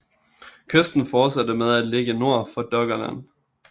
Kysten fortsatte med at ligge nord for Doggerland